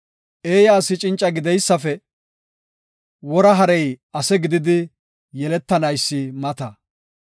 Eeya asi cinca gideysafe, wora harey ase gididi yeletanaysi mata.